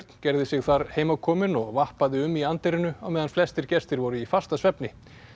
gerði sig þar heimakominn og um í anddyrinu á meðan flestir gestir voru í fastasvefni